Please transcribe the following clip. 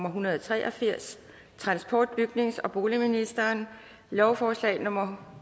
en hundrede og tre og firs transport bygnings og boligministeren lovforslag nummer